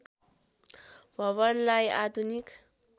भवनलाई आधुनिक